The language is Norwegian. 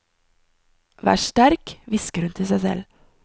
Vær sterk, hvisker hun til seg selv.